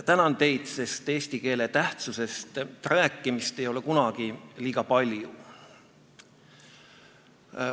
Tänan teid, sest eesti keele tähtsusest rääkimist ei ole kunagi liiga palju.